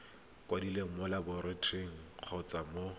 kwadilweng mo lebotlolong kgotsa mo